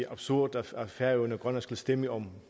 absurd at færøerne og grønland skulle stemme om